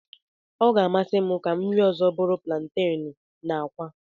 Ọ ga-amasị m ka nri ọzọ m bụrụ plantenu na akwa.